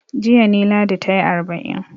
Jiya ne Ladi ta yi arba'in.